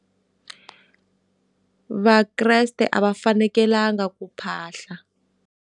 Vakreste a va fanekelanga ku phahla.